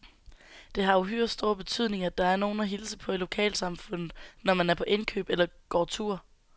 Det har uhyre stor betydning, at der er nogen at hilse på i lokalsamfundet, når man er på indkøb eller går tur.